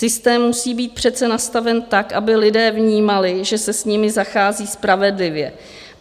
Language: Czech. Systém musí být přece nastaven tak, aby lidé vnímali, že se s nimi zachází spravedlivě.